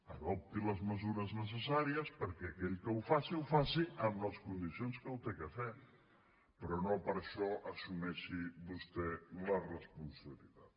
adopti les mesures necessàries perquè aquell que ho faci ho faci amb les condicions que ho ha de fer però no per això assumeixi vostè la responsabilitat